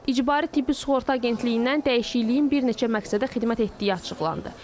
İcbari Tibbi Sığorta Agentliyindən dəyişikliyin bir neçə məqsədə xidmət etdiyi açıqlandı.